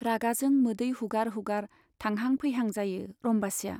रागाजों मोदै हुगार हुगार थांहां फैहां जायो रम्बासीया।